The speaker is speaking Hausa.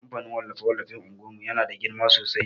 kamfanin wallafe-wallafe unguwan mu yana da girma sosai.